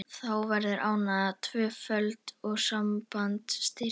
Þá verður ánægjan tvöföld og sambandið styrkist.